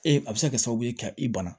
Ee a bɛ se ka kɛ sababu ye ka i bana